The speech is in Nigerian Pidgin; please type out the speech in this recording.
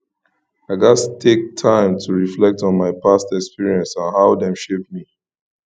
i gats take time to reflect on my past experiences and how dem shape me